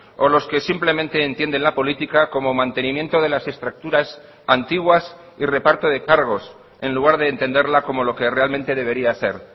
o los que simplemente entienden la política como mantenimiento de las estructuras antiguas y reparto de cargos en lugar de entenderla como lo que realmente debería ser